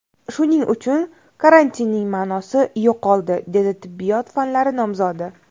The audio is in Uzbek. Shuning uchun karantinning ma’nosi yo‘qoldi”, degan tibbiyot fanlari nomzodi.